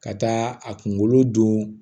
Ka taa a kunkolo dun